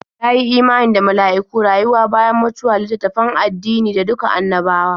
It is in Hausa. Ya yi imani da mala'iku, rayuwa bayan mutuwa, littattafan addini da duka annabawa.